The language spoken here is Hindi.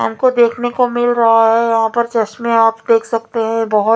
हमको देखने को मिल रहा है यहाँ पे चश्मे आप देख सकते है बहोत --